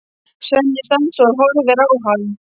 Svenni stansar og horfir á hann.